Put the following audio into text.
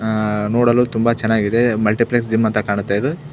ಅಹ್ ನೋಡಲು ತುಂಬಾ ಚನ್ನಾಗಿದೆ ಮಲ್ಟಿಪಲ್ಸ್ ಜಿಮ್ ಅಂತ ಕಾಣುತ್ತೆ ಇದು.